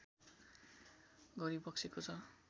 गरिबक्सेको छ